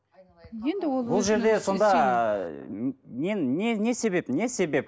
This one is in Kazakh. енді ол ол жерде сонда не не себеп не себеп